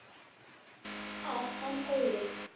Að enn öðru.